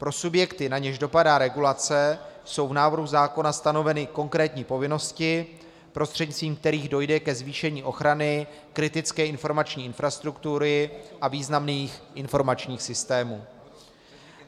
Pro subjekty, na něž dopadá regulace, jsou v návrhu zákona stanoveny konkrétní povinnosti, prostřednictvím kterých dojde ke zvýšení ochrany kritické informační infrastruktury a významných informačních systémů.